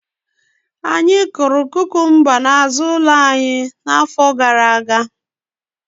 Anyị kụrụ kukumba n'azụ ụlọ anyị n'afọ gara aga